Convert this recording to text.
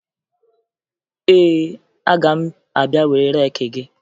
Ee, aga m abịa were reeki gị